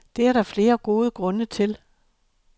Det er der flere gode grunde til.